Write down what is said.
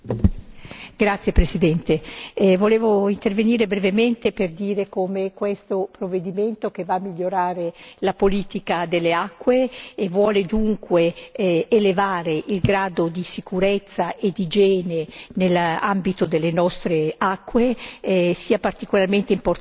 Signor Presidente, onorevoli colleghi, volevo intervenire brevemente per dire come questo provvedimento, che va a migliorare la politica delle acque e vuole dunque elevare il grado di sicurezza e d'igiene nell'ambito delle nostre acque, sia particolarmente importante.